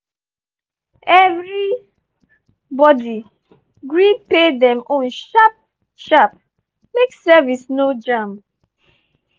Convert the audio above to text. every body gree pay dem own sharp-sharp make service no jam.